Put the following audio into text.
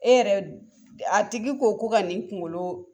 E yɛrɛ a tigi ko ko ka nin kunkolo.